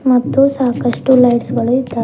ಮತ್ತು ಸಾಕಷ್ಟು ಲೈಟ್ಸ್ ಗಳು ಇದ್ದಾವೆ.